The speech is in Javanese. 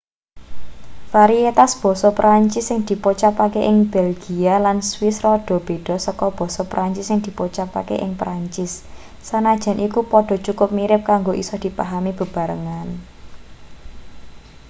varietas basa perancis sing dipocapake ing belgia lan swiss rada beda saka basa perancis sing dipocaake ing perancis sanajan iku padha cukup mirip kanggo isa dipahami bebarengan